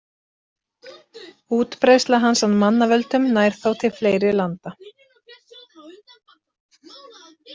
Útbreiðsla hans af mannavöldum nær þó til fleiri landa.